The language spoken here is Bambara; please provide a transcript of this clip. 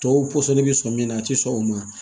Tɔw pɔsɔni bɛ sɔn min na a tɛ sɔn o ma